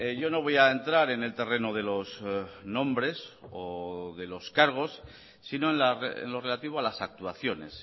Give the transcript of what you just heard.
yo no voy a entrar en el terreno de los nombres o de los cargos sino en lo relativo a las actuaciones